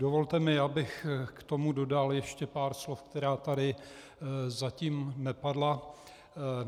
Dovolte mi, abych k tomu dodal ještě pár slov, která tady zatím nepadla.